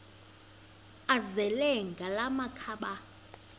azele ngala makhaba